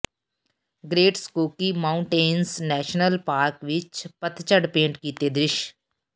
great Smoky Mountains National Park ਵਿੱਚ ਪਤਝੜ paint ਕੀਤੇ ਦ੍ਰਿਸ਼